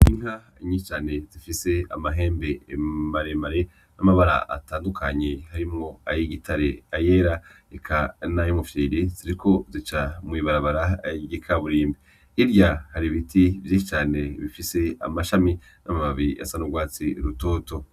Inka nyishi cane zifise amahembe maremare n'amabara atandukanye harimwo ay'igitare, ayera eka nay'umufyiri ,ziriko zica mw'ibarabara ry'ikaburimbi hirya hari ibiti vyinshi cane bifise amashami n'amababi asa n'urwatsi rutoto.